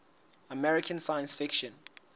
american science fiction